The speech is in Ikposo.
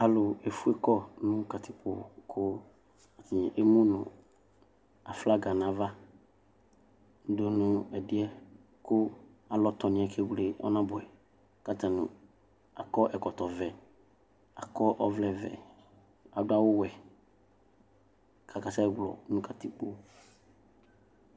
Ɔlʋlʋ efʋe kɔnʋ katikpo kʋ emʋnʋ aflaga nʋ ava dʋ ɛdiyɛ kʋ alɔ tɔniyɛ kewle ɔnabʋɛ kʋ atani akɔ ɛkɔtɔvɛ akɔ ɔvlɛvɛ adʋ awʋwɛ kʋ akasɛ wlɔ nʋ katikpo